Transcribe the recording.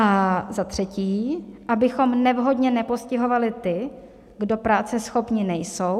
A za třetí, abychom nevhodně nepostihovali ty, kdo práceschopní nejsou.